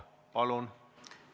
Palun!